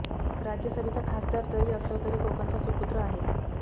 राज्यसभेचा खासदार जरी असलो तरी कोकणचा सुपुत्र आहे